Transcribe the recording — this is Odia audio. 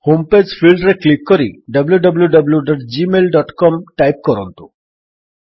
ହୋମ୍ ପେଜ୍ ଫିଲ୍ଡରେ କ୍ଲିକ୍ କରି wwwgmailcom ଟାଇପ୍ କରନ୍ତୁ